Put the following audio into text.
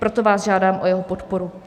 Proto vás žádám o jeho podporu.